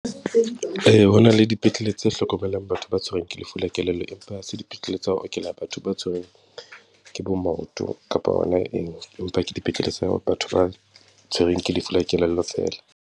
Ee, ho na le dipetlele tse hlokomelang batho ba tshwerweng ke lefu la kelello, empa ha se dipetlele tsa ho okela batho ba tshwerweng ke bo maoto kapa hona eng, empa ke dipetlele tsa batho ba tshwerweng ke lefu la kelello fela.